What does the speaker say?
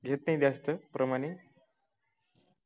घेत नाही जास्त प्रमाणे